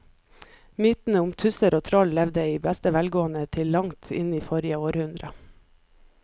Mytene om tusser og troll levde i beste velgående til langt inn i forrige århundre.